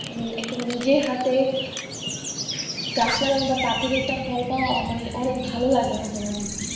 একটা নিজের হাতে গাছ লাগানো আর তা থেকে একটা ফল পাওয়া মানে অনেক ভাল লাগে মাঝে মাঝে।